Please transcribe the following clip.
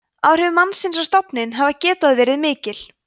áhrif mannsins á stofninn hafa getað verið mikil